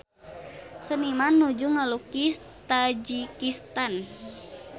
Seniman nuju ngalukis Tajikistan